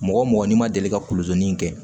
Mɔgɔ mɔgɔ n'i ma deli ka kulodon in kɛ